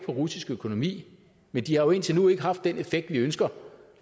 den russiske økonomi men de har jo indtil nu ikke haft den effekt vi ønsker